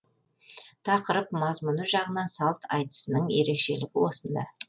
тақырып мазмұны жағынан салт айтысының ерекшелігі осында